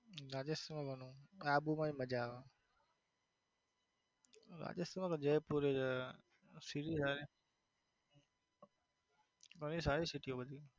રાજસ આબુ માં પણ મજા આવે રાજસ્થાન માં તો જોધપુર સારી city બધી.